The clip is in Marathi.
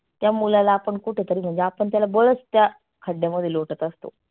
त्या मुलाला आपण कुठतरी म्हणजे आपण त्याला बलच त्या खड्ड्यामध्ये लोटत असतो.